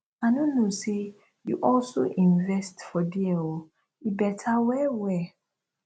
i no know say you also invest for there oo e beta well well